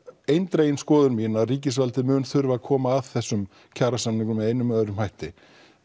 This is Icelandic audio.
eindregin skoðun mín að ríkisvaldið mun þurfa að koma að þessum kjarasamningum með einum eða öðrum hætti